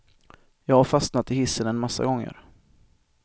Jag har fastnat i hissen en massa gånger.